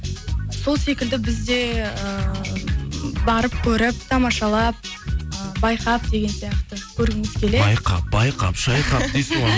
сол секілді біз де ііі барып көріп тамашалап э байқап деген сияқты көргіміз келеді байқап байқап шайқап дейсің ғой